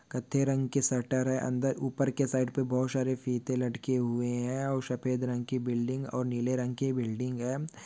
कत्थे रंग के शटर है अंदर उपर के साइड पे बहुत सारे फीते लटके हुए है और सफ़ेद रंग के बिल्डिंग और नीले रंग के बिल्डिंग है।